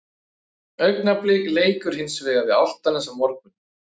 Augnablik leikur hins vegar við Álftanes á morgun.